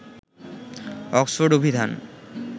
Oxford অভিধান